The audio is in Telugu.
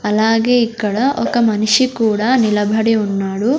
అలాగే ఇక్కడ ఒక మనిషి కూడా నిలబడి ఉన్నాడు.